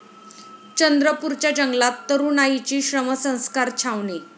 चंद्रपुरच्या जंगलात तरुणाईची श्रमसंस्कार छावणी